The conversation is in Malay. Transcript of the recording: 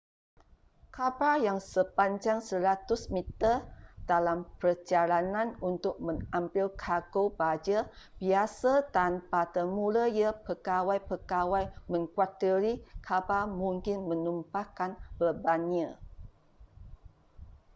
kapal yang sepanjang 100-meter dalam perjalanan untuk mengambil kargo baja biasa dan pada mulanya pegawai-pegawai mengkhuatiri kapal mungkin menumpahkan bebannya